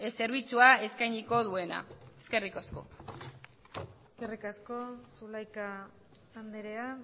zerbitzua eskainiko duena eskerrik asko eskerrik asko zulaika andrea